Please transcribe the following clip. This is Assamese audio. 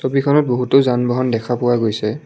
ছবিখনত বহুতো যান বাহন দেখা পোৱা গৈছে।